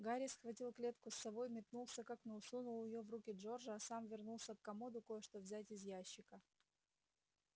гарри схватил клетку с совой метнулся к окну сунул её в руки джорджа а сам вернулся к комоду кое-что взять из ящика